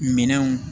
Minɛnw